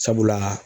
Sabula